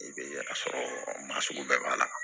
I bɛ a sɔrɔ masugu bɛɛ b'a la